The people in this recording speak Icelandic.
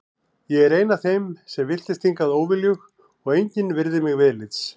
Ég er ein af þeim sem villtist hingað óviljug og engin virðir mig viðlits.